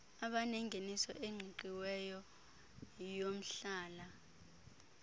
abanengeniso eqingqiweyo yomhlala